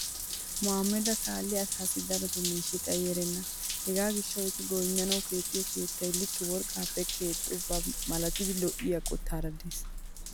Mohaamedassi kaalliya asaassi darotoo miishshay xayi erenna. Hegaa gishshawu etti goynnanawu keexxiyo keettay likke worqqaappe kexxoba malatidi lo'iya qottaara des.